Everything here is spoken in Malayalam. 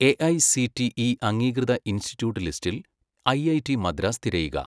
എഐസിടിഇ അംഗീകൃത ഇൻസ്റ്റിട്യൂട്ട് ലിസ്റ്റിൽ ഐഐടി മദ്രാസ് തിരയുക.